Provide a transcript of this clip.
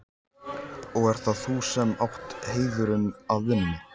Og ert það þú sem átt heiðurinn af vinnunni?